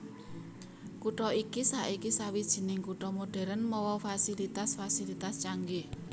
Kutha iki saiki sawijining kutha modern mawa fasilitas fasilitas canggih